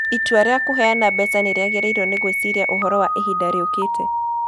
Itua rĩa kũheana mbeca nĩ rĩagĩrĩirũo nĩ gwĩciria ũhoro wa ihinda rĩũkĩte.